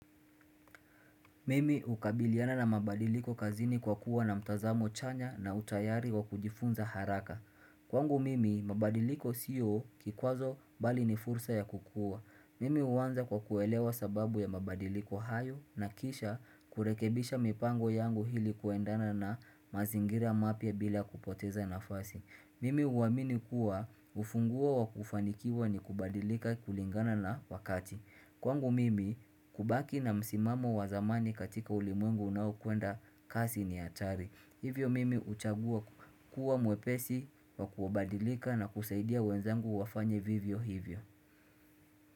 Mimi hukabiliana na mabadiliko kazini kwa kuwa na mtazamo chanya na utayari wa kujifunza haraka Kwangu mimi mabadiliko siyo kikwazo bali ni fursa ya kukuwa, Mimi huwanza kwa kuelewa sababu ya mabadiliko hayo na kisha kurekebisha mipango yangu ili kuendana na mazingira mapya bila kupoteza nafasi, Mimi huamini kuwa ufunguo wa kufanikiwa ni kubadilika kulingana na wakati Kwangu mimi kubaki na msimamo wa zamani katika ulimwengu unaokwenda kasi ni hatari. Hivyo mimi huchagua kuwa mwepesi wa kubadilika na kusaidia wenzangu wafanye vivyo hivyo.